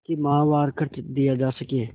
कि माहवार खर्च दिया जा सके